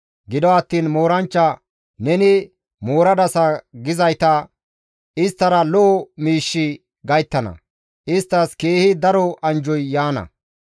Gido attiin Mooranchcha, «Neni mooradasa» gizayta isttara lo7o miishshi gayttana; isttas keehi daro anjjoy yaana.